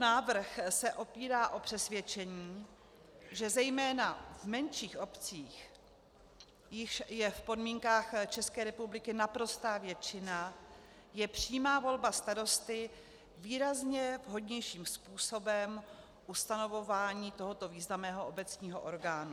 Návrh se opírá o přesvědčení, že zejména v menších obcích, jichž je v podmínkách České republiky naprostá většina, je přímá volba starosty výrazně vhodnějším způsobem ustanovování tohoto významného obecního orgánu.